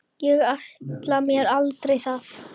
Ég ætlaði mér aldrei að.